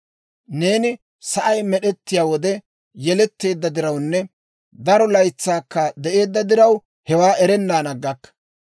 Neeni sa'ay med'ettiyaa wode yeletteedda dirawunne daro laytsaakka de'eedda diraw, hewaa erennan aggakka!